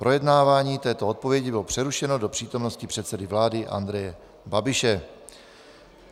Projednávání této odpovědi bylo přerušeno do přítomnosti předsedy vlády Andreje Babiše.